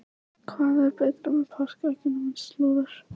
Hvað er betra með páskaeggjunum en slúður?